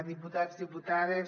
diputats diputades